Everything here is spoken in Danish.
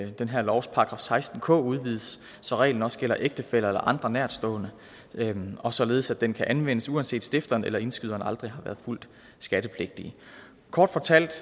den her lovs § seksten k udvides så reglen også gælder ægtefæller eller andre nærtstående og således at den kan anvendes uanset at stifteren eller indskyderen aldrig har været fuldt skattepligtig kort fortalt